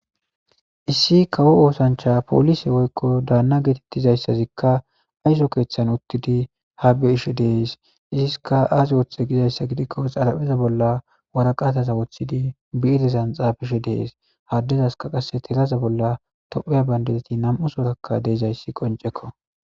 Issi kawo oosancha poolise woykko daanna geetettizayssazikka ayso keeththan uttidi habbe ishe dees iziska aasi woththe gizayssa gidikko xalapheza bolla waraqataza woththidi biidezan xaabishe dees haddezaska qasse telaza bolla topheya bandezeti nam7u sorakka deezayssi qoncekko.